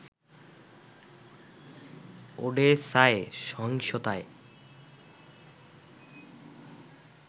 ওডেসায় সহিংসতায়